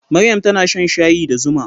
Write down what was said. Maryam tana shan shayi da zuma.